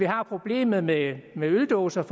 har problemet med øldåserne